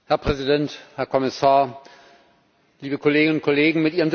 Herr Präsident, Herr Kommissar, liebe Kolleginnen und Kollegen!